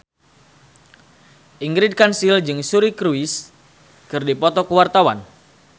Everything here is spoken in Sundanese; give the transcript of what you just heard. Ingrid Kansil jeung Suri Cruise keur dipoto ku wartawan